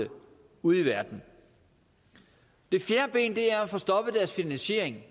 ude i verden det fjerde ben er at få stoppet deres finansiering